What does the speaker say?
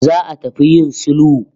Za'a tafi yIn sulhu